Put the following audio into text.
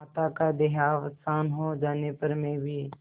माता का देहावसान हो जाने पर मैं भी